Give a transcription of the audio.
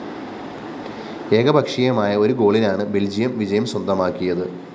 ഏകപക്ഷീയമായ ഒരു ഗോളിനാണ് ബല്‍ജിയം വിജയം സ്വന്തമാക്കിയത്